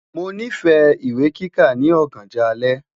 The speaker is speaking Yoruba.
Mo nifẹ iwe kika ni ọganjọ alẹ